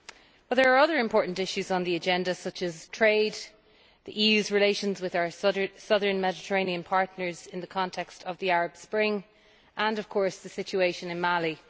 But there are other important issues on the agenda such as trade, the EU's relations with our Southern Mediterranean partners in the context of the Arab Spring and of course the situation in Mali.